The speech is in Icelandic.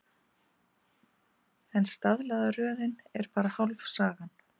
En staðlaða röðin er bara hálf sagan.